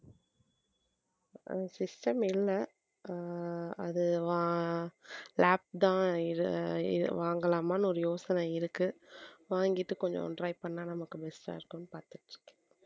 ஆஹ் system இல்லை அஹ் அது வா~ lap தான் வாங்கலாமான்னு ஒரு யோசனை இருக்கு வாங்கிட்டு கொஞ்சம் try பண்ணா நமக்கு use ஆ இருக்கும்னு பார்த்துட்டு இருக்கேன்